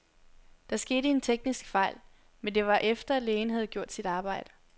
Der skete en teknisk fejl, men det var efter, lægen havde gjort sit arbejde.